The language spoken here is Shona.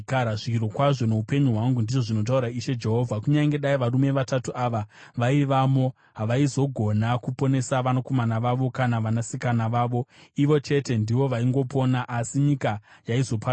zvirokwazvo, noupenyu hwangu, ndizvo zvinotaura Ishe Jehovha, kunyange dai varume vatatu ava vaivamo, havaizogona kuponesa vanakomana vavo kana vanasikana vavo. Ivo chete ndivo vaingopona, asi nyika yaizoparadzwa.